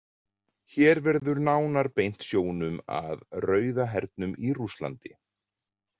Hér verður nánar beint sjónum að Rauða hernum í Rússlandi.